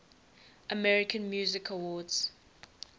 american music awards